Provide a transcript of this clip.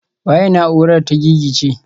Waye na'urar ta gigice?